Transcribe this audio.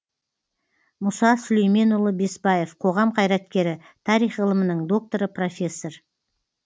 мұса сүлейменұлы бесбаев қоғам қайраткері тарих ғылымының докторы профессор